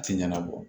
A tɛ ɲɛnabɔ